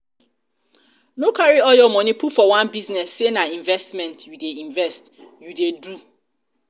no carry all your money put for one business say na investment you dey investment you dey do